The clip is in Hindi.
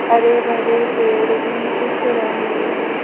हरे भरे पेड़ भी दिख रहे हैं।